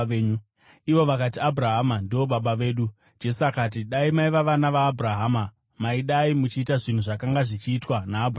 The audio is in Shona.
Ivo vakati, “Abhurahama ndivo baba vedu.” Jesu akati, “Dai maiva vana vaAbhurahama, maidai muchiita zvinhu zvakanga zvichiitwa naAbhurahama.